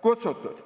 kutsutud.